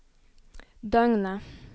døgnet